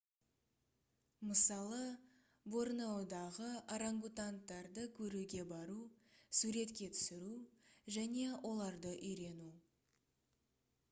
мысалы борнеодағы органгатуангтарды көруге бару суретке түсіру және оларды үйрену